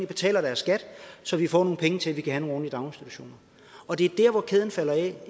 betaler skat så vi får nogle penge til at vi kan have daginstitutioner og det er der kæden falder af